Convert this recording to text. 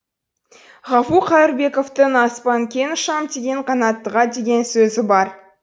ғафу қайырбековтің аспан кең ұшам деген қанаттыға деген сөзі бар